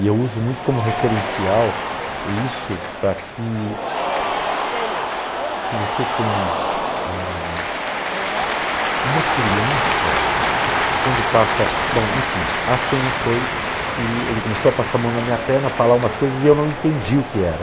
E eu uso muito como referencial isso para que, se você tem eh uma criança, quando passa... Bom, enfim, a cena foi que ele começou a passar a mão na minha perna, a falar umas coisas e eu não entendi o que era.